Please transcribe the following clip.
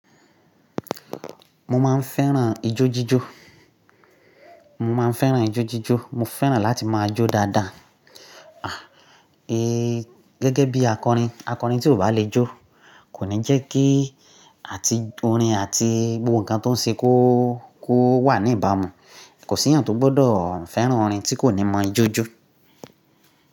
Mo máa ń fẹ́ràn ijójíjó. Mo máa ń fẹ́ràn ijójíjó. Mo fẹ́ràn láti máa jó dáadáa. À, eh gẹ́gẹ́ bí akọrin, akọrin tí ò bá le jó kò ní jẹ́ kí àti orin àti gbogbo nǹkan tó ń ṣe kó, kó wà ní ìbámu. Kò sí èèyàn tó gbọ́dọ̀ fẹ́ràn orin tí kò ní mọ ijójo.